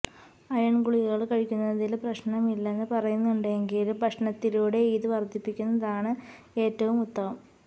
iron ഗുളികകള് കഴിക്കുന്നതില് പ്രശ്നമില്ലെന്ന് പറയുന്നുണ്ടെങ്കിലും ഭക്ഷണത്തിലൂടെ ഇത് വര്ധിപ്പിക്കുന്നതാണ് ഏറ്റവും ഉത്തമം